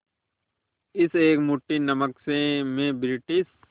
इस एक मुट्ठी नमक से मैं ब्रिटिश